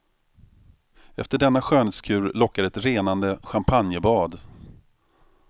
Efter denna skönhetskur lockar ett renande champagnebad.